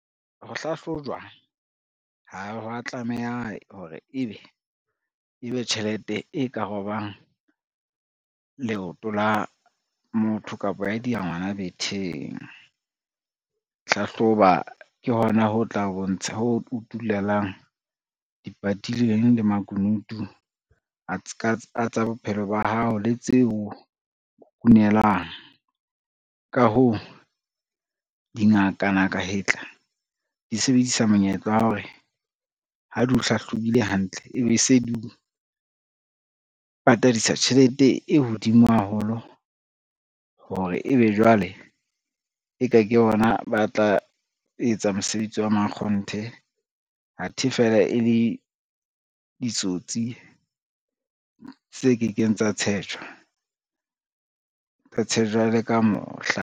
Ho hlahlojwa ha wa tlameha hore ebe tjhelete e ka robang leoto la motho kapa ya dia ngwana betheng. Hlahloba ke hona hoo utulelang di patileng le makunutu a tsa bophelo ba hao le tseo kukunelang. Ka hoo, dingaka ngaka hetla di sebedisa monyetla wa hore ha di o hlahlobilwe hantle ebe se di o patadisa tjhelete e hodimo haholo hore ebe jwale, e ka ke bona ba tla etsa mosebetsi wa mankgonthe athe fela e le ditsotsi tse kekeng tsa tshetjwa, tsa tshetjwa le ka mohla.